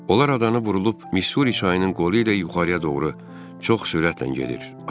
Onlar adanı vurulub Missuri çayının qolu ilə yuxarıya doğru çox sürətlə gedir.